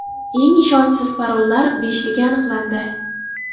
Eng ishonchsiz parollar beshligi aniqlandi.